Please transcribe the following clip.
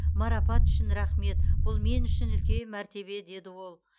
марапат үшін рахмет бұл мен үшін үлкен мәртебе деді ол